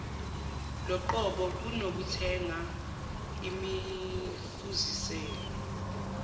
loqobo kunokuthenga imifuziselo